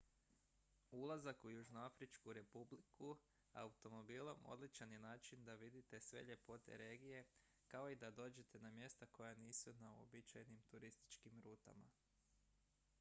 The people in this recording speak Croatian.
ulazak u južnoafričku republiku automobilom odličan je način da vidite sve ljepote regije kao i da dođete na mjesta koja nisu na uobičajenim turističkim rutama